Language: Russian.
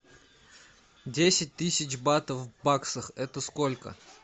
десять тысяч батов в баксах это сколько